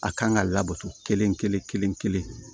A kan ka labato kelen kelen kelen kelen